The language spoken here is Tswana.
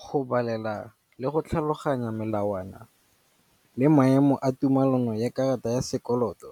Go balela le go tlhaloganya melawana le maemo a tumalano ya karata ya sekoloto.